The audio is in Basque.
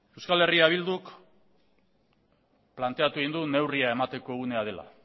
euskal herria bilduk planteatu egin du neurria emateko unea dela